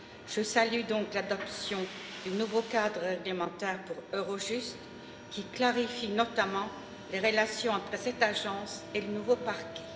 Je salue donc l'adoption du nouveau cadre réglementaire pour Eurojust qui clarifie notamment les relations entre cette agence et le nouveau parquet.